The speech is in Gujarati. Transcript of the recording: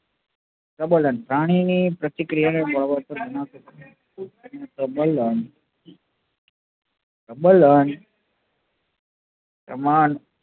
પ્રબલ્ન પ્રાણી ની પ્રતિક્રિયા ને પ્રબલન પ્રબલન પ્રમાણ